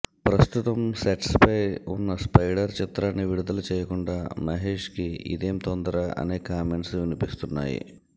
ప్రస్తుతం సెట్స్ పై ఉన్నస్పైడర్ చిత్రాన్ని విడుదల చేయకుండా మహేష్ కి ఇదేం తొందర అనే కామెంట్స్ వినిపిస్తున్నాయి